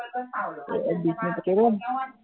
কি বিশ মিনিট পাতিব লাগিব নেকি